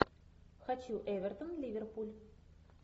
хочу эвертон ливерпуль